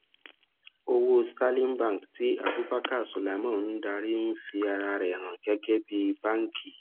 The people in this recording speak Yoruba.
owó sterling bank tí abubakar suleiman ń darí ń fi ara rẹ hàn gẹgẹ bí banki